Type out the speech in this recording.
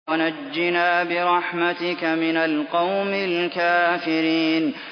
وَنَجِّنَا بِرَحْمَتِكَ مِنَ الْقَوْمِ الْكَافِرِينَ